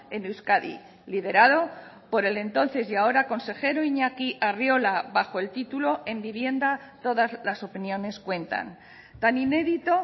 en euskadi liderado por el entonces y ahora consejero iñaki arriola bajo el título en vivienda todas las opiniones cuentan tan inédito